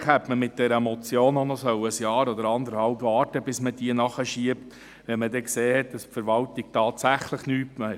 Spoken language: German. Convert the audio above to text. Eigentlich hätte man mit dieser Motion noch ein Jahr oder anderthalb Jahre warten müssen, bis man diese nachschiebt, wenn man sieht, dass die Verwaltung tatsächlich nichts macht.